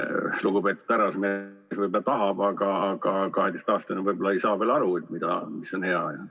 Lugupeetud härrasmees võib-olla tahab, aga 12-aastane võib-olla ei saa veel aru, mis on hea?